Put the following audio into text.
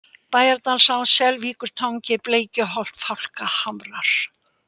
Bæjardalsá, Selvíkurtangi, Bleikjuholt, Fálkahamrar